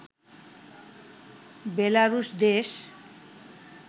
বেলারুশ দেশ